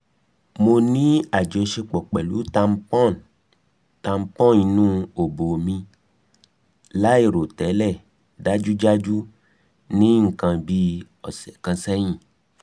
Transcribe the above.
mo ni ajọṣepọ pẹlu tampon inu obo mi (lairotẹlẹ dajudaju) ni nkan bi ọsẹ kan sẹhin